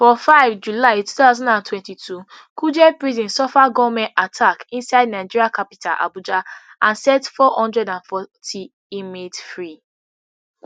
for five july two thousand and twenty-two kuje prison suffer gunmen attack inside nigeria capital abuja and set four hundred and forty inmates free